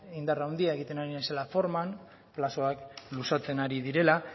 indar handia egiten ari naizela forman plazoak luzatzen ari direla